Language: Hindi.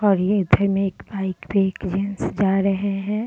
और ये में एक बाइक पे जा रहे हैं।